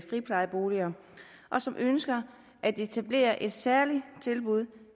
friplejeboliger og som ønsker at etablere et særligt tilbud